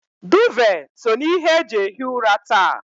Duuve so na ihe e ji ehi ụra taa